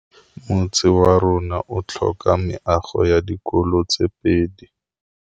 Motse warona o tlhoka meago ya dikolô tse pedi.